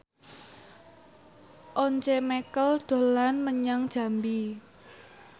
Once Mekel dolan menyang Jambi